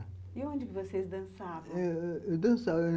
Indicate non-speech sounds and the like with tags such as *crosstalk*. E onde vocês dançavam? eu dançava *unintelligible*